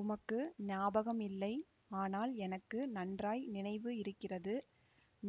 உமக்கு ஞாபகம் இல்லை ஆனால் எனக்கு நன்றாய் நினைவு இருக்கிறது